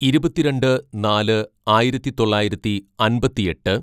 "ഇരുപത്തിരണ്ട് നാല് ആയിരത്തിതൊള്ളായിരത്തി അമ്പത്തിയെട്ട്‌